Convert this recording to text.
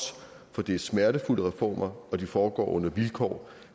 for det er smertefulde reformer og de foregår under vilkår